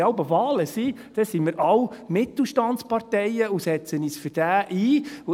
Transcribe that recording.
Wenn jeweils Wahlen sind, dann sind wir alles Mittelstandsparteien und setzen uns für diesen ein.